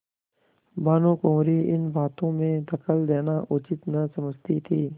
भानुकुँवरि इन बातों में दखल देना उचित न समझती थी